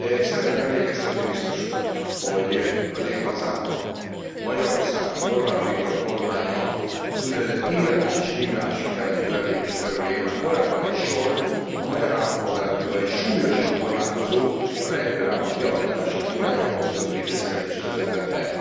Szeretném emlékeztetni biztos urat, hogy az én hazámban, Magyarországon, Orbán Viktor kormánya az úgynevezett illegális migránsok elleni fellépés örvén már korábban egy sor, a magyar állampolgárok jogait súlyosan korlátozó, rendőrállam kialakításának irányába mutató intézkedést vezetett be.